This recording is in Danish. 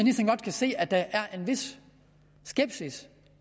se at der er en vis skepsis